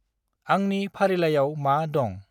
आंनि फारिलाइयाव मा दंं?